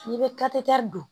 N'i bɛ don